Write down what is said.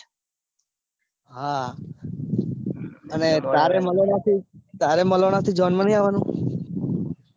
હા તારે મલાણાથી જોન માં નઈ અવાનૂ.